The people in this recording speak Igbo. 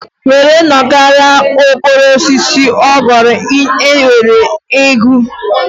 Ngwere nọkarịa n'ukoro osisi ọ ghọrọ ngwere aghụ.